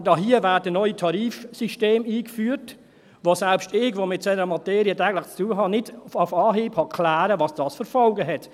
Aber hier werden neue Tarifsysteme eingeführt, bei denen selbst ich, der mit einer solchen Materie täglich zu tun hat, nicht auf Anhieb klären kann, welche Folgen das hat.